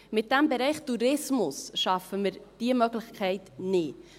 Mit diesem Bereich Tourismus schaffen wir diese Möglichkeit nicht.